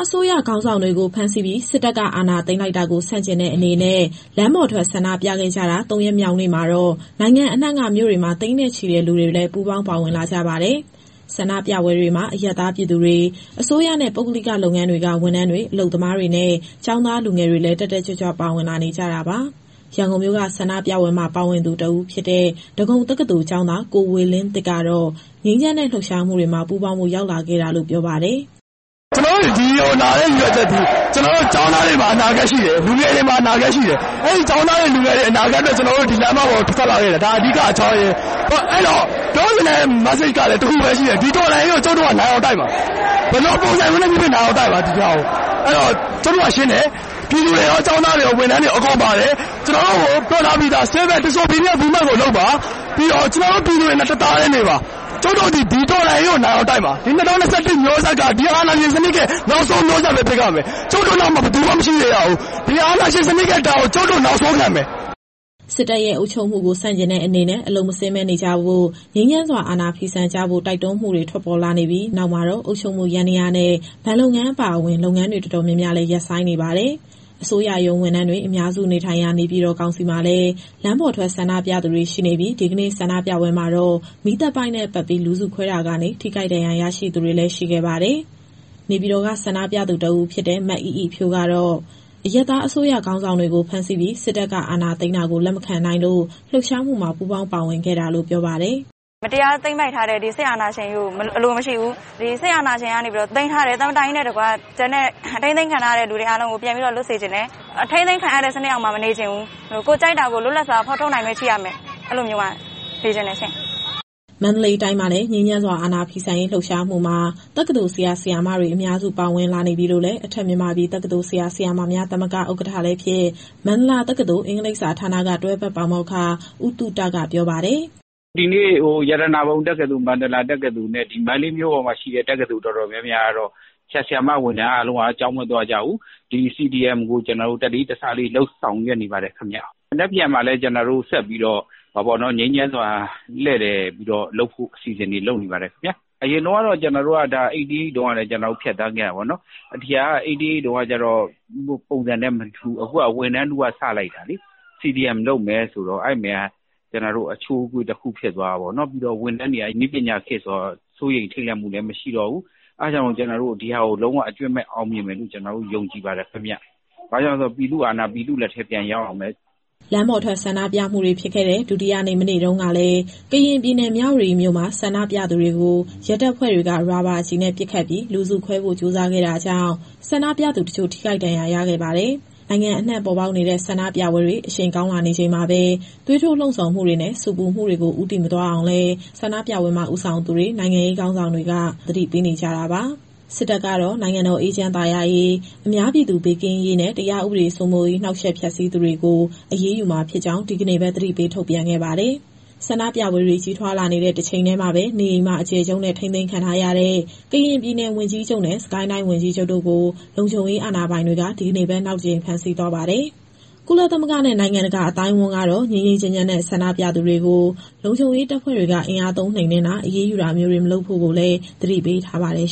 အစိုးရ ခေါင်းဆောင်တွေကို ဖမ်းဆီးပြီး စစ်တပ်က အာဏာသိမ်းလိုက်တာကို ဆန့်ကျင်တဲ့အနေနဲ့ လမ်းပေါ်ထွက် ဆန္ဒပြခဲ့ကြတာ ၃ ရက်မြောက်နေ့မှာတော့ နိုင်ငံအနှံ့က မြို့တွေမှာ သိန်းနဲ့ချီတဲ့ လူတွေလည်း ပူးပေါင်းပါဝင်လာကြပါတယ်။ ဆန္ဒပြပွဲတွေမှာတော့ အရပ်သားပြည်သူတွေ၊ အစိုးရနဲ့ ပုဂ္ဂလိက လုပ်ငန်းတွေက ဝန်ထမ်းတွေ၊ အလုပ်သမားတွေနဲ့ ကျောင်းသားလူငယ်တွေလည်း တက်တက်ကြွကြွ ပါဝင်လာနေကြတာပါ။ ရန်ကုန်မြို့က ဆန္ဒပြပွဲမှာ ပါဝင်သူတဦးဖြစ်တဲ့ ဒဂုံတက္ကသိုလ်ကျောင်းသား ကိုဝေလင်းသစ်ကတော့ ငြိမ်းချမ်းတဲ့ လှုပ်ရှားမှုတွေမှာ ပူးပေါင်းဖို့ ရောက်လာခဲ့တာလို့ ပြောပါတယ်။ "ကျနော်တို့ ဒီကိုလာတဲ့ ရည်ရွယ်ချက်သည် ကျနော်တို့ ကျောင်းသားတွေမှာ အနာဂတ်ရှိတယ်၊ လူငယ်တွေမှာ အနာဂတ်ရှိတယ်။ အဲဒီ ကျောင်းသားတွေ၊ လူငယ်တွေရဲ့ အနာဂတ်အတွက် ကျနော်တို့ ဒီလမ်းမပေါ်ကို ထွက်လာခဲ့တယ်။ ဒါအဓိကအကြောင်းရင်း။ အဲဒီတော့ ပြောချင်တဲ့ Message ကလည်း တခုပဲရှိတယ်။ ဒီတော်လှန်ရေးကို ကျုပ်တို့ကနိုင်အောင်တိုက်မှာ။ ဘယ်လိုပုံစံမျိုးနဲ့ဖြစ်ဖြစ် နိုင်အောင်တိုက်မှာ။ အဲဒီတော့ ကျုပ်တို့ကရှင်းတယ်။ ပြည်သူတွေရော၊ ကျောင်းသားတွေရော၊ ဝန်ထမ်းတွေရော အကုန်ပါတယ်။ ကျနော်တို့ကို ပြောထားပြီးသား Civil Disobedience Movement ကိုလုပ်ပါ။ ပြီးတော့ ကျနော်တို့ပြည်သူတွေနဲ့ တသားတည်းနေပါ။ ကျုပ်တို့သည် ဒီတော်လှန်ရေးကို နိုင်အောင်တိုက်မှာ။ ဒီ ၂၀၂၁ မျိုးဆက်က ဒီအာဏာရှင်စနစ်ရဲ့ နောက်ဆုံးမျိုးဆက်ပဲ ဖြစ်ရမယ်။ ကျုပ်တို့နောက်မှာ ဘယ်သူမှ မရှိစေရဘူး။ ဒီအာဏာရှင်စနစ်ရဲ့ ဒဏ်ကို ကျုပ်တို့နောက်ဆုံးခံမယ်။" စစ်တပ်ရဲ့ အုပ်ချုပ်မှုကို ဆန့်ကျင်တဲ့အနေနဲ့ အလုပ်မဆင်းဘဲ နေကြဖို့ ငြိမ်းချမ်းစွာ အာဏာဖီဆန်ကြဖို့ တိုက်တွန်းမှုတွေ ထွက်ပေါ်လာခဲ့ပြီး နောက်မှာတော့ အုပ်ချုပ်မှု ယန္တရားနဲ့ ဘဏ်လုပ်ငန်း အပါအဝင် လုပ်ငန်းတွေ တော်တော်များများလည်း ရပ်ဆိုင်းနေပါတယ်။ အစိုးရရုံးဝန်ထမ်းတွေ အများစုနေထိုင်ရာ နေပြည်တော်ကောင်စီမှာလည်း လမ်းပေါ်ထွက်ဆန္ဒပြသူတွေ ရှိနေပြီး ဒီကနေ့ ဆန္ဒပြပွဲမှာတော့ မီးသတ်ပိုက်နဲ့ပက်ပြီး လူစုခွဲတာကနေ ထိခိုက်ဒဏ်ရာရသူတွေလည်း ရှိခဲ့ပါတယ်။ နေပြည်တော်က ဆန္ဒပြသူတဦးဖြစ်တဲ့ မအိအိဖြိုးကတော့ အရပ်သားအစိုးရ ခေါင်းဆောင်တွေကို ဖမ်းဆီးပြီး စစ်တပ်က အာဏာသိမ်းတာကို လက်မခံနိုင်လို့ လှုပ်ရှားမှုမှာ ပူးပေါင်းပါဝင်ခဲ့တာလို့ ပြောပါတယ်။ "မတရားသိမ်းပိုက်ထားတဲ့ ဒီစစ်အာဏာရှင်ကြီးကို အလိုမရှိဘူး။ ဒီစစ်အာဏာရှင်ကနေပြီးတော့ သိမ်းထားတဲ့ သမ္မတကြီးနဲ့တကွ ကျန်တဲ့ ထိန်းသိမ်းခံထားရတဲ့သူတွေ အားလုံးကို ပြန်ပြီးတော့ လွတ်စေချင်တယ်။ အထိန်းသိမ်းခံရတဲ့ စနစ်အောက်မှာ မနေချင်ဘူး။ ကိုယ်ကြိုက်တာကို လွတ်လပ်စွာဖော်ထုတ်နိုင်ခွင့် ရှိရမယ်။ အဲဒီလိုမျိုးမှာ နေချင်တယ်ရှင့်။" မန္တလေးတိုင်းမှာလည်း ငြိမ်းချမ်းစွာ အာဏာဖီဆန်ရေး လှုပ်ရှားမှုမှာ တက္ကသိုလ်ဆရာ၊ ဆရာမတွေ အများစု ပါဝင်လာနေပြီလို့လည်း အထက်မြန်မာပြည်တက္ကသိုလ် ဆရာ၊ ဆရာမများသမဂ္ဂ ဥက္ကဋ္ဌလည်းဖြစ် မန္တလာတက္ကသိုလ်၊ အင်္ဂလိပ်စာဌာနက တွဲဖက်ပါမောက္ခ ဦးသုတကပြောပါတယ်။ "ဒီနေ့ ရတနာပုံတက္ကသိုလ်၊ မန္တလာတက္ကသိုလ်နဲ့ ဒီမန္တလေးမြို့ပေါ်မှာရှိတဲ့ တက္ကသိုလ်တော်တော်များများကတော့ ဆရာ၊ ဆရာမ ဝန်ထမ်းအားလုံးက ကျောင်းမသွားကြဘူး။ ဒီ CDM ကို တလေးတစားလေး ဆောင်ရွက်နေပါတယ်ခင်ဗျ။ မနက်ဖြန်မှာလည်း ကျနော်တို့ဆက်ပြီးတော့ ငြိမ်းချမ်းစွာ လှည့်လည်ပြီးတော့လုပ်ဖို့ အစီအစဉ်တွေလုပ်နေပါတယ်။ အရင်တုန်းကတော့ ကျနော်တို့က ၈၈ တုန်းကလည်း ဖြတ်သန်းခဲ့ရတာပေါ့နော်။ ဒီဟာက ၈၈ တုန်းက ပုံစံနဲ့မတူဘူး။ အခုဟာက ဝန်ထမ်းထုက စလိုက်တာလေ။ CDM လုပ်မယ်ဆိုတော့ အဲဒီမှာ အချိုးအကွေ့တခု ဖြစ်သွားတာပေါ့နော်။ ပြီးတော့ ဝန်ထမ်းတွေက နည်းပညာခေတ်ဆိုတော့ စိုးရိမ်ထိတ်လန့်မှုလည်း မရှိတော့ဘူး။ အဲဒါကြောင့် ကျနော်တို့ကတော့ ဒီဟာကို လုံးဝအကြွင်းမဲ့ အောင်မြင်မယ်လို့ ယုံကြည်ပါတယ်ခင်ဗျ။ ဘာကြောင့်လဲဆိုတော့ ပြည်သူ့အာဏာက ပြည်သူ့လက်ထဲ ပြန်ရောက်ရမယ်။" လမ်းပေါ်ထွက် ဆန္ဒပြပွဲတွေဖြစ်ခဲ့တဲ့ ဒုတိယနေ့ မနေ့တုန်းကလည်း ကရင်ပြည်နယ်၊ မြဝတီမြို့မှာ ဆန္ဒပြသူတွေကို ရဲတပ်ဖွဲ့တွေက ရာဘာကျည်နဲ့ပစ်ခတ်ပြီး လူစုခွဲဖို့ကြိုးစားခဲ့တာကြောင့် ဆန္ဒပြသူတချို့ ထိခိုက်ဒဏ်ရာရခဲ့ပါတယ်။ နိုင်ငံအနှံ့ပေါ်ပေါက်နေတဲ့ ဆန္ဒပြပွဲတွေ အရှိန်ကောင်းလာနေချိန်မှာပဲ သွေးထိုးလှုံ့ဆော်မှုတွေနဲ့ ဆူပူမှုတွေကို ဦးတည်မသွားအောင်လည်း ဆန္ဒပြပွဲမှာ ဦးဆောင်သူတွေ၊ နိုင်ငံရေး ခေါင်းဆောင်တွေက သတိပေးနေကြတာပါ။ စစ်တပ်ကတော့ နိုင်ငံတော် အေးချမ်းသာယာရေး၊ အများပြည်သူ ဘေးကင်းရေးနဲ့ တရားဥပဒေ စိုးမိုးရေး နှောက်ယှက်ဖျက်ဆီးသူတွေကို အရေးယူမှာဖြစ်ကြောင်း ဒီကနေ့ပဲ သတိပေးချက် ထုတ်ပြန်ခဲ့ပါတယ်။ ဆန္ဒပြပွဲတွေ ကြီးထွားလာနေတဲ့ တချိန်တည်းမှာပဲ နေအိမ်မှာအကျယ်ချုပ်နဲ့ ထိန်းသိမ်းခံထားရတဲ့ ကရင်ပြည်နယ်ဝန်ကြီးချုပ်နဲ့ စစ်ကိုင်းတိုင်းဝန်ကြီးချုပ်တို့ကို လုံခြုံရေးအာဏာပိုင်တွေက ဒီကနေ့ပဲ နောက်တကြိမ် ဖမ်းဆီးသွားပါတယ်။ ကုလသမဂ္ဂနဲ့ နိုင်ငံတကာ အသိုင်းအဝန်းကတော့ ငြိမ်းငြိမ်းချမ်းချမ်းနဲ့ ဆန္ဒပြသူတွေကို လုံခြုံရေးတပ်ဖွဲ့တွေက အင်အားသုံး နှိမ်နင်းတာ အရေးယူတာမျိုးတွေ မလုပ်ဖု့ိလည်း သတိပေးထားပါတယ်